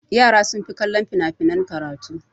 Yara sun fi kallon fina-finan karatu.